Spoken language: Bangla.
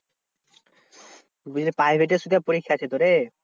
বুঝলি private এ পরীক্ষা আছে তো রে।